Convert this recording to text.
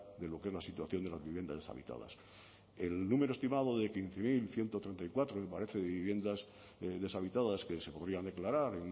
de lo que es la situación de las viviendas deshabitadas el número estimado de quince mil ciento treinta y cuatro me parece de viviendas deshabitadas que se podrían declarar